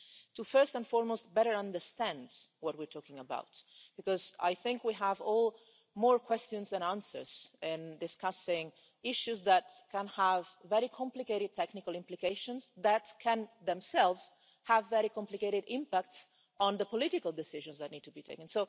to first and foremost better understand what we're talking about, because I think we all have more questions than answers in discussing issues that can have very complicated technical implications, that can themselves have very complicated impacts on the political decisions that need to be taken.